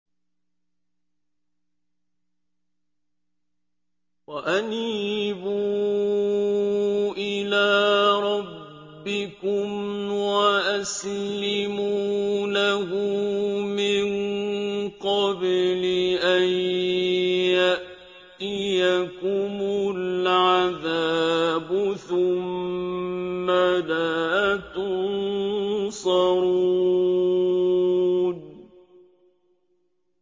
وَأَنِيبُوا إِلَىٰ رَبِّكُمْ وَأَسْلِمُوا لَهُ مِن قَبْلِ أَن يَأْتِيَكُمُ الْعَذَابُ ثُمَّ لَا تُنصَرُونَ